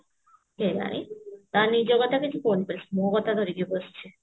କେଜାଣି ତା ନିଜ କଥା କିଛି କହୁନି ବାସ୍ ମୋ କଥା ଧରିକି ବସିଛି